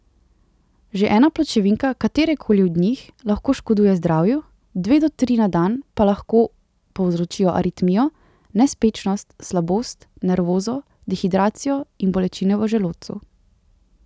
Že ena pločevinka katere koli od njih lahko škoduje zdravju, dve do tri na dan pa lahko povzročijo aritmijo, nespečnost, slabost, nervozo, dehidracijo in bolečine v želodcu.